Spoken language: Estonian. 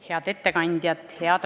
Head ettekandjad!